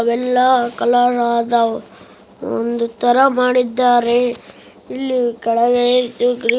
ಅವೆಲ್ಲ ಕಲರ್ ಆದ ಒಂದು ತರ ಮಾಡಿದ್ದಾರೆ. ಇಲ್ಲಿ ಕೆಳಗೆ